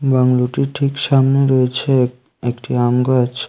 বাংলোটির ঠিক সামনেই রয়েছে এক একটি আম গাছ।